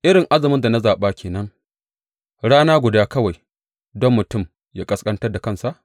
Irin azumin da na zaɓa ke nan, rana guda kawai don mutum ya ƙasƙantar da kansa?